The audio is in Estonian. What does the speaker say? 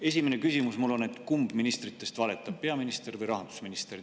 Esimene küsimus mul on, et kumb ministritest valetab: peaminister või rahandusminister.